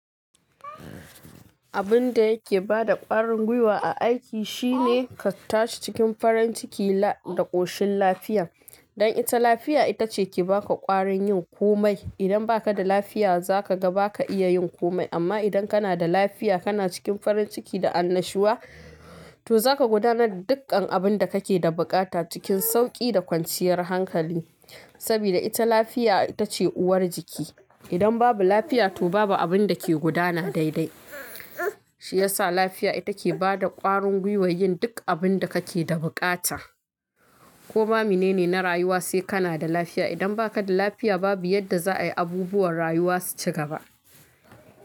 Abin da yake bada ƙwarin gwiwa a aiki shine ka tashi cikin farin ciki da ƙoshin lafiya. Don ita lafiya ita ce ke ba ka ƙwarin yin komai. Idan ba ka da lafiya za ka ga ba ka iya yin komai. Amma idan ka na da lafiya, ka na cikin farin ciki da annashuwa, to za ka gudanar da dukkan abin da ka ke da buƙata cikin sauƙi da kwanciyar hankali. Saboda ita lafiya ita ce uwar jiki. Idan babu lafiya to babu abin da ke gudana daidai. Shi ya sa lafiya ita ke bada ƙwarin gwiwar yin duk abin da ka ke da buƙata. Koma mene ne na rayuwa sai ka na da lafiya. Idan ba ka da lafiya babu yadda za'a yi abubuwan rayuwa su ci gaba.